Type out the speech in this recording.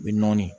U bɛ nɔɔni